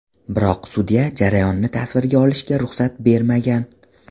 Biroq sudya jarayonni tasvirga olishga ruxsat bermagan.